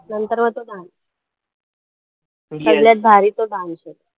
नंतर मग तो dance सगळ्यात भारी तो dance आहे.